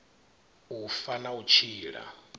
u fa na u tshila